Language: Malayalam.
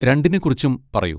രണ്ടിനെക്കുറിച്ചും പറയൂ.